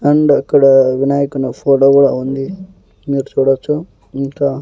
And ఇక్కడ వినాయకుని photo కూడా ఉంది మీరు చూడచ్చు ఇంకా.